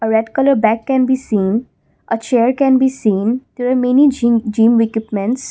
red colour bag can be seen a chair can be seen there are many gym gym equipments.